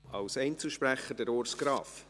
Als Einzelsprecher, Urs Graf.